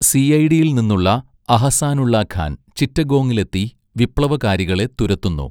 സിഐഡിയിൽ നിന്നുള്ള അഹസാനുള്ള ഖാൻ ചിറ്റഗോങ്ങിലെത്തി വിപ്ലവകാരികളെ തുരത്തുന്നു.